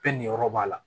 Pe ni yɔrɔ b'a la